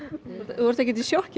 þú ert ekkert í sjokki